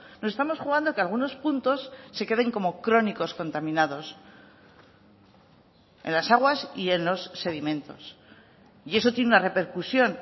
nos estamos jugando que algunos puntos se queden como crónicos contaminados en las aguas y en los sedimentos y eso tiene una repercusión